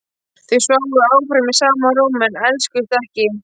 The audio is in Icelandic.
Þau sváfu áfram í sama rúmi en elskuðust ekki.